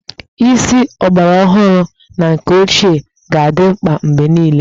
Isi ọgbaraọhụrụ na nke ochie ga-adị mkpa mgbe niile